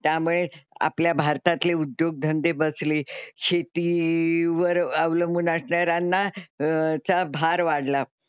त्यामुळे आपल्या भारतातले उद्योगधंदे बसले. शेती वर अवलंबून असणाऱ्यांना चा भार वाढला.